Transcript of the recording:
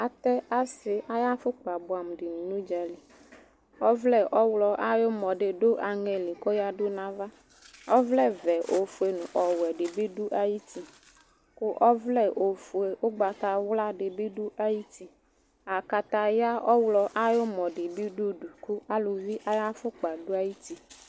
Atɛ asɩ ayafʋkpa bʋɛamʋ dɩnɩ n'ʋdza li Ɔvlǝ ɔɣlɔ ayʋmɔ dɩ dʋ aŋɛ li koyǝdu nnava, ɔvlɛvɛ, ofue nʋ ɔwɛbɩ dʋ ayuti, kʋ ɔvlɛ ofue ʋgbatawla dɩ bɩ dʋ ayuti Akataya ɔɣlɔ ayʋmɔdɩ bɩ dʋudu kʋ aluvi ayafʋkpa dʋ ayuti